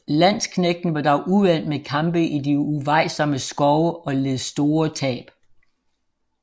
Landsknægtene var dog uvant med kampe i de uvejsomme skove og led store tab